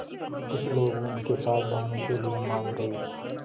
कुछ लोग उनके साथ जाने के लिए मान गए